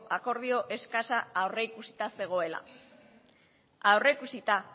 akordio eskasa aurrikusita zegoela aurrikusita